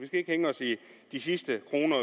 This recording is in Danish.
skal ikke hænge os i de sidste kroner